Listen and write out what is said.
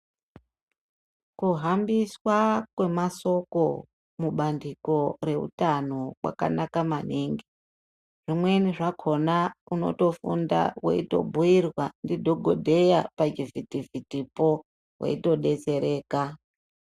Kuhambiswa kwemasoko mubandiko reutano kwakanaka maningi zvimweni zvakhona unotofunda weitobhiirwa ndidhohodheya pachivhiti vhitipo weitodetsereka.